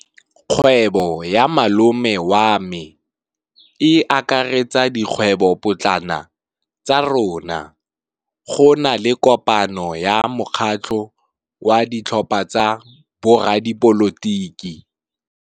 Kgwêbô ya malome wa me e akaretsa dikgwêbôpotlana tsa rona. Go na le kopanô ya mokgatlhô wa ditlhopha tsa boradipolotiki.